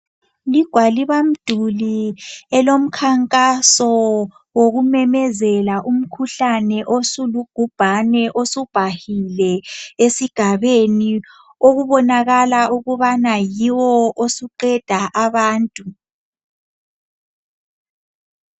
Ligwalibamduli lomkhankaso okumemezela umkhuhlane osulubhubhane osubhahile esigabeni okubonakala ukubana yiwo osuqeda abantu.